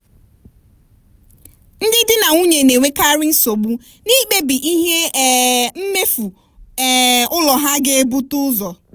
ndị di na nwunye na-enwekarị nsogbu n'ikpebi ihe um mmefu um ụlọ ha ga-ebute ụzọ.